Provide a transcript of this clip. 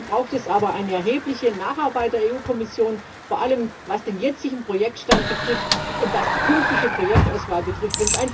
Dazu braucht es aber eine erhebliche Nacharbeit der EU Kommission, vor allem was den jetzigen Projektstand und die künftige Projektauswahl betrifft.